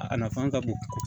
A nafan ka bon